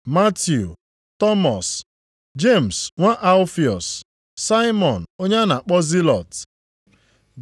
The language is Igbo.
Matiu Tọmọs, Jemis nwa Alfiọs, Saimọn onye a na-akpọ Zilọt.